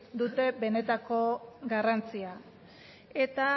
dute benetako garrantzia eta